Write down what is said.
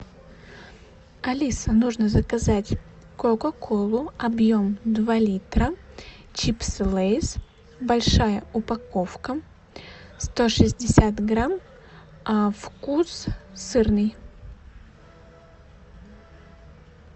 алиса нужно заказать кока колу объем два литра чипсы лейс большая упаковка сто шестьдесят грамм вкус сырный